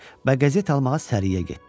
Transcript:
Və qəzet almağa Səriyə getdi.